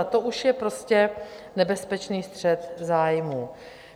A to už je prostě nebezpečný střet zájmů.